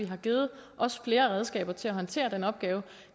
har givet flere redskaber til at håndtere den opgave